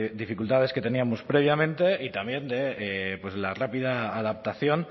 dificultades que teníamos previamente y también de la rápida adaptación